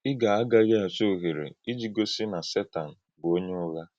Ị̀ gà-agághì àchọ́ òhèrè íjì gósí na Sétan bụ́ onye ụ̀ghà?